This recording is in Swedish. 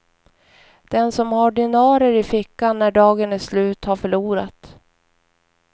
Den som har dinarer i fickan när dagen är slut har förlorat.